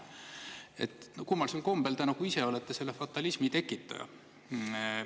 Et kummalisel kombel te nagu ise olete selle fatalismi tekitaja.